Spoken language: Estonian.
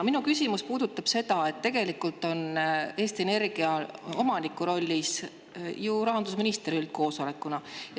Minu küsimus puudutab seda, et tegelikult on Eesti Energia omaniku rollis ju rahandusminister üldkoosolekuna.